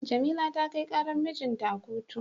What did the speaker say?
Jamila ta kai karar mijinta a kotu.